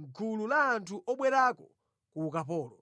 mʼgulu la anthu obwerako ku ukapolo.